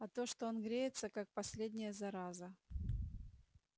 а то что он греется как последняя зараза